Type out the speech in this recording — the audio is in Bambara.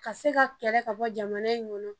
Ka se ka kɛlɛ ka bɔ jamana in kɔnɔ